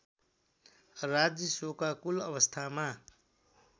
राज्य शोकाकुल अवस्थामा